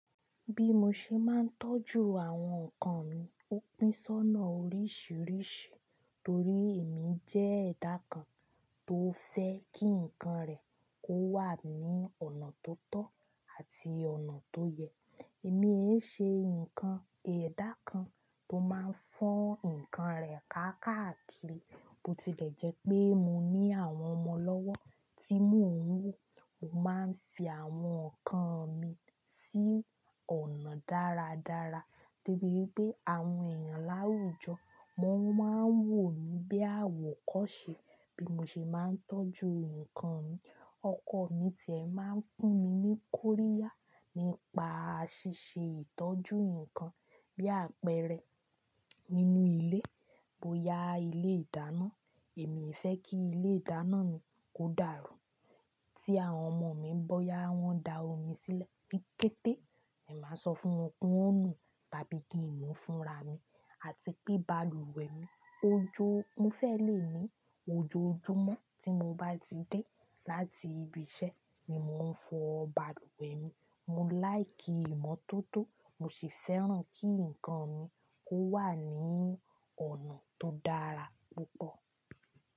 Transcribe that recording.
Bí mo ṣe máa ń tọ́jú àwọn nǹkan mi ó pín sọ́nà oríṣìíríṣìí torí èmi jẹ́ ẹ̀dá kan tó fẹ́ kí nǹkan rẹ̀ kó wà ní ọ̀nà tó tọ́ àti ọ̀nà tó yẹ. Èmi hé ṣe nkan ẹ̀dá kan tó máa ń fọ́n nǹkan rẹ̀ kákakiri. Bo tilẹ̀ jẹ́ pé mo ní àwọn ọmọ lọ́wọ́ tí mò ń wò, mo máa ń fi àwọn nǹkan mi sí ọ̀nà dáradára, debi wipé àwọn èèyàn láwùjọ, wọ́n máa ń wò mí bí àwòkọ́ ṣe bí mo ṣe máa ń tọ́jú nǹkan Ọkọ̀ mi tí ẹ máa ń fún mi ní Kóríà nípa ṣíṣe ìtọ́jú nǹkan bí àpẹẹrẹ nínú ilé. Bo ya ilé ìdáná, èmi fẹ́ kí ilé ìdáná mi kó dàrú. Tí àwọn ọmọ mi bọ́ yá, wọ́n da omi sílẹ̀ ni kété, èmi máa sọ fún wọn ki wọ́n nú tabi kín nu fúnra mi àti pé bàlùwẹ̀ mi ó jó. Mo fẹ́ lè ní ojoojúmọ́ tí mo bá ti dé láti ibi iṣẹ́ ni mò ń fọ bàlùwẹ̀ mi. Mo láì kí ìmọ́tótó, mo sì fẹ́ràn kí nǹkan mi kó wà ní ọ̀nà tó dára púpọ̀.